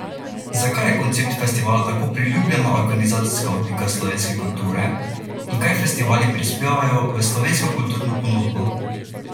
Zakaj je koncept festivala tako priljubljena organizacijska oblika slovenske kulture in kaj festivali prispevajo v slovensko kulturno ponudbo?